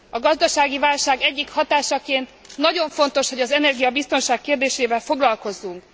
A gazdasági válság egyik hatásaként nagyon fontos, hogy az energiabiztonság kérdésével foglalkozzunk.